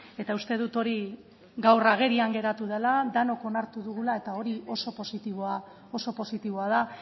eta uste dut hori gaur agerian geratu dela denok onartu dugula eta hori oso positiboa oso positiboa da